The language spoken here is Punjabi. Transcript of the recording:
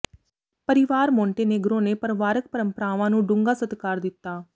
ਪਰਿਵਾਰ ਮੋਂਟੇਨੇਗਰੋ ਨੇ ਪਰਿਵਾਰਕ ਪਰੰਪਰਾਵਾਂ ਨੂੰ ਡੂੰਘਾ ਸਤਿਕਾਰ ਦਿੱਤਾ